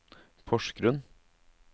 Porsgrunn